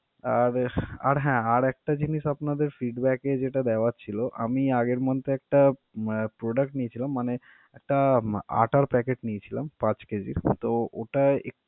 আর আর হ্যা, আর একটা জিনিস আপনাদের feedback এ যেটা দেওয়ার ছিল, আমি আগের month একটা উম product নিয়েছিলাম। মানে একটা আটার packet নিয়েছিলাম পাঁচ কেজি, তো ওটা